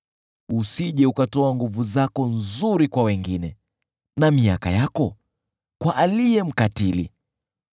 usije ukatoa nguvu zako nzuri kwa wengine na miaka yako kwa aliye mkatili,